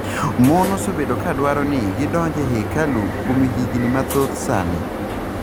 Mon osebedo ka dwaro ni gidonj e hekalu kuom higni mathoth sani.